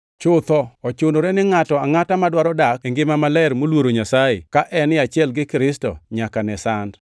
Chutho, ochunore ni ngʼato angʼata madwaro dak e ngima maler moluoro Nyasaye ka en e achiel gi Kristo Yesu, nyaka ne sand,